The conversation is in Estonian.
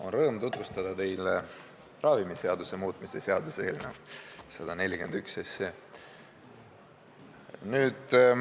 On rõõm tutvustada teile ravimiseaduse muutmise seaduse eelnõu 141.